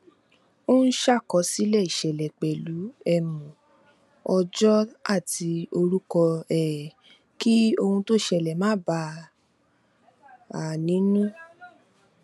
ó ń ṣàkọsílẹ ìṣẹlẹ pẹlú um ọjọ àti orúkọ um kí ohun tó ṣẹlẹ má bà a nínú